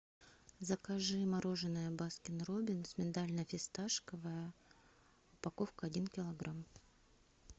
закажи мороженое баскин роббинс миндально фисташковое упаковка один килограмм